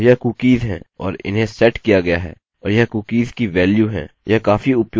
अतः यह कुकीज़ है और इन्हें सेट किया गया है और यह कुकीज़ की वेल्यू है